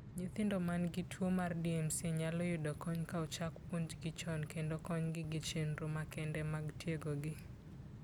Nyithindo ma nigi tuwo mar DMC nyalo yudo kony ka ochak puonjgi chon kendo konygi gi chenro makende mag tiegogi.